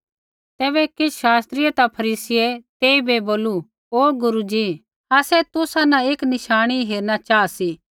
तैबै किछ़ शास्त्री ता फरीसियै तेइबै बोलू ओ गुरू जी आसै तुसा न एक नशाणी हेरणा चाहा सी